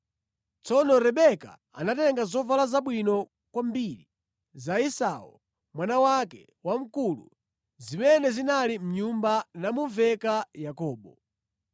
Tsono Rebeka anatenga zovala zabwino kwambiri za Esau mwana wake wamkulu zimene zinali mʼnyumba namuveka Yakobo.